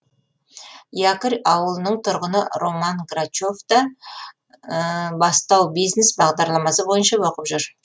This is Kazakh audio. якорь ауылының тұрғыны роман грачев та бастау бизнес бағдарламасы бойынша оқып жүр